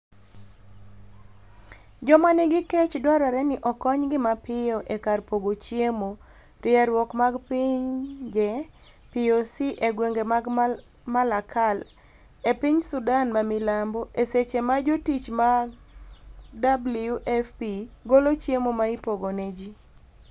joma nigi kech dwarore ni okony gi mapiyo e kar pogo chiemo, rieruok mag pinje POC e gwenge mag Malakal e piny Sudan ma milambo . e seche ma jotich ma WFP golo chiemo ma ipogo ne ji